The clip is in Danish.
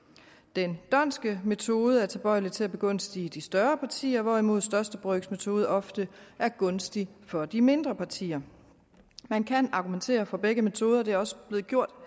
den dhondtske metode er tilbøjelig til at begunstige de større partier hvorimod største brøks metode ofte er gunstig for de mindre partier man kan argumentere for begge metoder og det er også blevet gjort